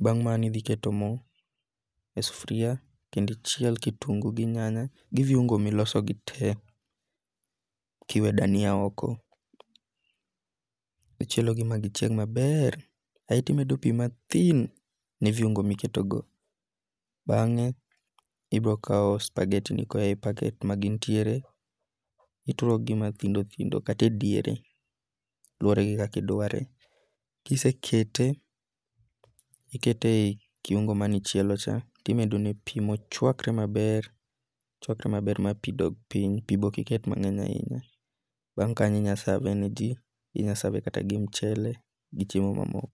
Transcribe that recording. Bang' mano iketo mo e sufria kendo ichiel kitungu gi nyanya gi viungu miloso gi te kiwe dania oko. Ichielo gi ma gichieg maber aito imedo pi mathin ne viungu miketo go. Bange ibiro kaw spageti ni koa e paket magintie ituro gi mathindo thindo kata e diere. Luwore gin kaka idware. Kisekete, ikete ek kiungu manichielo cha, timedo ne pi mochwakre maber ma pi dog piny pi be ok iket mang'eny ahinya. Bang' kanyo inya save ne ji. Inya save kata gi mchele gi chiemo mamoko.